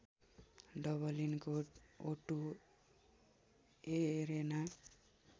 डबलिनको O two arena